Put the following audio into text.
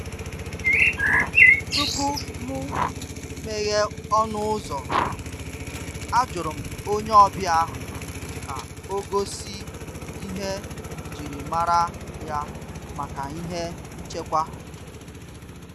Tupu m meghee ọnụ ụ́zọ́, àjụrụ m onye ọbịa ahụ ka ọ gosi ihe njirimara ya maka ihe nchekwa.